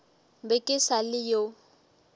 be ke sa le yo